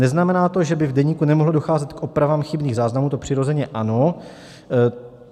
Neznamená to, že by v deníku nemohlo docházet k opravám chybných záznamů, to přirozeně ano.